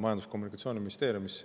Majandus- ja Kommunikatsiooniministeeriumisse.